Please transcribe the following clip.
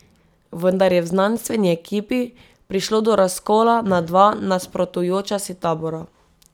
Vendar je v znanstveni ekipi prišlo do razkola na dva nasprotujoča si tabora.